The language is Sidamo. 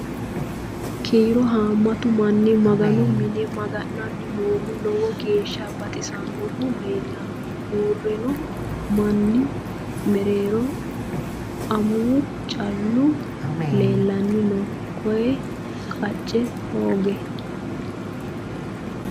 Kiiro haammattu manni maganu mine maga'nanni noohu lowo geeshsha baxisaannohu leelanno. uurinno manni mereerro amuwu callu leelanni no koye qacee hoge